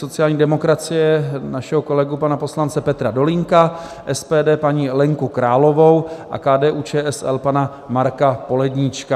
sociální demokracie našeho kolegu, pana poslance Petra Dolínka, SPD paní Lenku Královou a KDU-ČSL pana Marka Poledníčka;